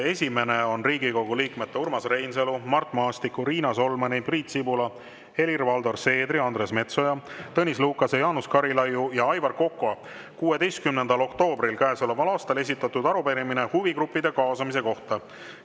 Esimene on Riigikogu liikmete Urmas Reinsalu, Mart Maastiku, Riina Solmani, Priit Sibula, Helir-Valdor Seederi, Andres Metsoja, Tõnis Lukase, Jaanus Karilaiu ja Aivar Koka 16. oktoobril käesoleval aastal esitatud arupärimine huvigruppide kaasamise kohta.